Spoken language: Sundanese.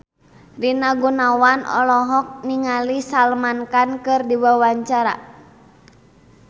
Rina Gunawan olohok ningali Salman Khan keur diwawancara